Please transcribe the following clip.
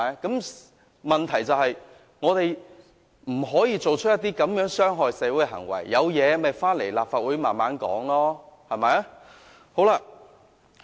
我們不可作出這種傷害社會的行為，如果有問題，大家可回來立法會慢慢討論。